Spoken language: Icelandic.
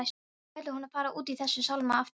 Ætlar hún að fara út í þessa sálma aftur?